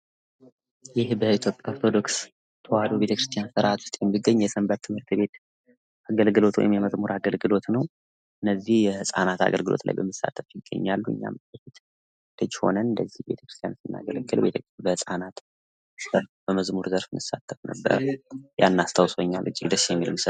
ይህ በኢትዮጵያ ኦርቶዶክስ ተዋህዶ ቤተክርስቲያን ስርአት ውስጥ የሚገኝ የሰንበት ትምህርት ቤት አገልግሎት ወይም የመዝሙር አገልግሎት ነው ፤ እነዚህ የህፃናት አገልግሎት ላይ በመሳተፍ ይገኛሉ ። እኛም ልጅ ሆነን እንደዚህ ቤተክርስቲያን ውስጥ ስናገለግል በህፃናት በመዝሙር ስንሳተፍ ነበረ ያን አስታውሶኛል እጅግ ደስ የሚልስል ነው።